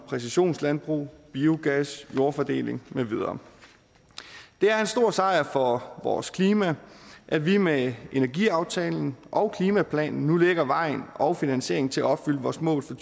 præcisionslandbrug biogas jordfordeling med videre det er en stor sejr for vores klima at vi med energiaftalen og klimaplanen nu lægger vejen og finansieringen til at opfylde vores mål for